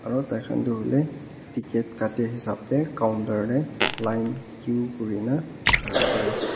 Aro taikhan tuh hoile ticket kaate hesab dae counter dae line queue kurena khara kure ase.